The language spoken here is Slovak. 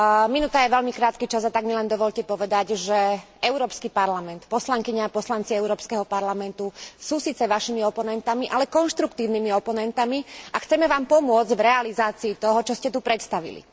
Minúta je veľmi krátky čas, a tak mi len dovoľte povedať, že Európsky parlament, poslankyne a poslanci Európskeho parlamentu sú síce vašimi oponentmi, ale konštruktívnymi oponentmi a chceme vám pomôcť v realizácii toho, čo ste tu predstavili.